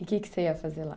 E o que que você ia fazer lá?